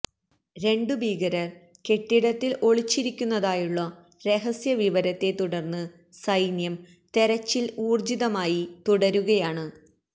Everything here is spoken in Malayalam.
രണ്ടു ഭീകരര് കെട്ടിടത്തില് ഒളിച്ചിരിക്കുന്നതായുള്ള രഹസ്യവിവരത്തെ തുടര്ന്ന് സൈന്യം തെരച്ചില് ഊര്ജിതമായി തുടരുകയാണ്